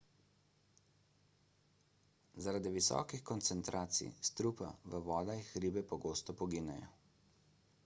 zaradi visokih koncentracij strupa v vodah ribe pogosto poginejo